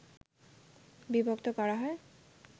বিভক্ত করা হয়